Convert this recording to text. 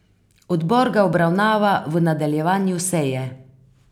Odbor ga obravnava v nadaljevanju seje.